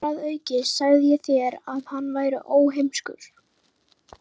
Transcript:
Þar að auki sagði ég þér, að hann væri óheimskur.